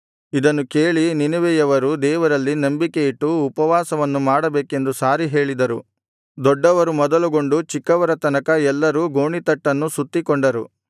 ಇದನ್ನು ಕೇಳಿ ನಿನೆವೆಯವರು ದೇವರಲ್ಲಿ ನಂಬಿಕೆಯಿಟ್ಟು ಉಪವಾಸವನ್ನು ಮಾಡಬೇಕೆಂದು ಸಾರಿ ಹೇಳಿದರು ದೊಡ್ಡವರು ಮೊದಲುಗೊಂಡು ಚಿಕ್ಕವರ ತನಕ ಎಲ್ಲರೂ ಗೋಣಿತಟ್ಟನ್ನು ಸುತ್ತಿಕೊಂಡರು